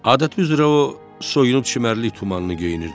Adəti üzrə o soyunub çimərlik tumanını geyinirdi.